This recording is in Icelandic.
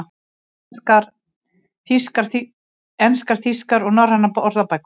Íslenskar, enskar, þýskar og norrænar orðabækur.